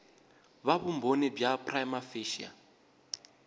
va vumbhoni bya prima facie